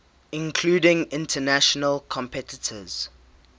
including international competitors